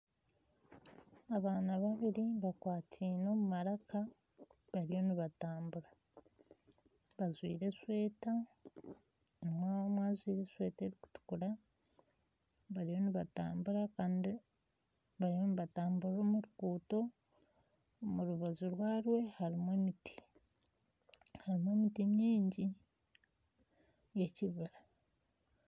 Abaana babiri bakwatine omu maraka bariyo nibatambura bajwaire esweeta nindeeba omwe ajwaire esweeta erikutukura bariyo nibatamburira omu ruguuto, omu rubaju rwarwo harimu emiti, harimu emiti nyiingi y'ekibiira.